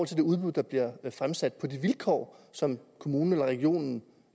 til de udbud der bliver fremsat på de vilkår som kommunen eller regionen